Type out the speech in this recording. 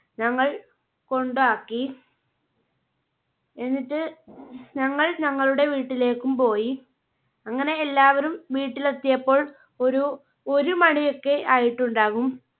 ഞങ്ങൾ കൊണ്ടാക്കി. എന്നിട്ട് ഞങ്ങൾ ഞങ്ങളുടെ വീട്ടിലേക്കും പോയി. അങ്ങനെ എല്ലാവരും വീട്ടിൽ എത്തിയപ്പോൾ ഒരു ഒരുമണി ഒക്കെ ആയിട്ടുണ്ടാവും.